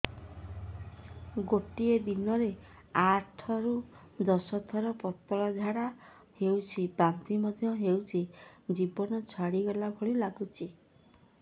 ଗୋଟେ ଦିନରେ ଆଠ ରୁ ଦଶ ଥର ପତଳା ଝାଡା ହେଉଛି ବାନ୍ତି ମଧ୍ୟ ହେଉଛି ଜୀବନ ଛାଡିଗଲା ଭଳି ଲଗୁଛି